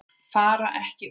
Fara ekki út